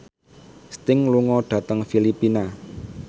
Sting lunga dhateng Filipina